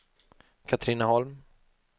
Katrineholm